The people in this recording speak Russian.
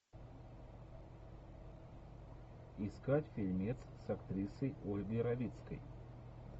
искать фильмец с актрисой ольгой равицкой